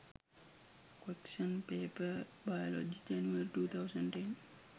question paper biology january 2010